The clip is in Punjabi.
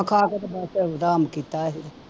ਖਾ ਕੇ ਤੇ ਪੈਸੇ ਕੀਤੇ ਇਹ